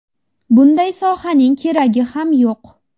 Bunday sohaning keragi ham yo‘q.